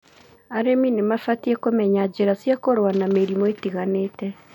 Arĩmi nĩ mabatie kũmenya njĩra cia kũrũa na mĩrimũ ĩtiganĩte.